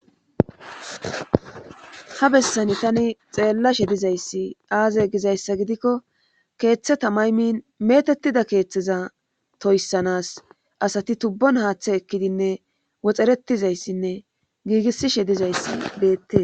Ha bessani tani xeellashe dizayssi aaza gizayssa gidikko keeththe tamaymin metettida keeththeza toyssanas asati tubbon haaththe ekkidinne woxxeretizayssinne giigisishe dizayssi beette.